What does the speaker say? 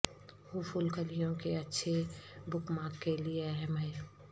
وہ پھول کلیوں کے اچھے بک مارک کے لئے اہم ہیں